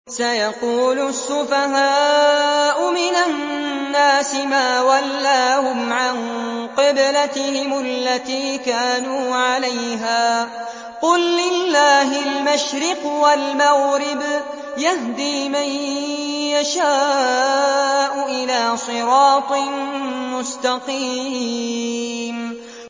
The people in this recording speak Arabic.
۞ سَيَقُولُ السُّفَهَاءُ مِنَ النَّاسِ مَا وَلَّاهُمْ عَن قِبْلَتِهِمُ الَّتِي كَانُوا عَلَيْهَا ۚ قُل لِّلَّهِ الْمَشْرِقُ وَالْمَغْرِبُ ۚ يَهْدِي مَن يَشَاءُ إِلَىٰ صِرَاطٍ مُّسْتَقِيمٍ